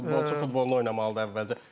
Futbolçu futbolunu oynamalıdır əvvəlcə.